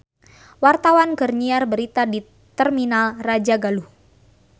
Wartawan keur nyiar berita di Terminal Rajagaluh